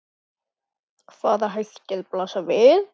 Hvaða hættur blasa við?